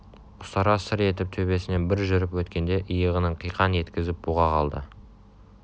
ұстара сыр етіп төбесінен бір жүріп өткенде иығын қиқаң еткізіп бұға қалды